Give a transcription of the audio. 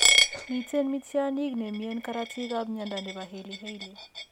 Miten mityaaniikap ne mien korootiikap mnyando ne po Hailey Hailey?